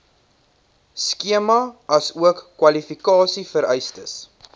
skema asook kwalifikasievereistes